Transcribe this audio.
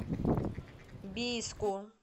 бийску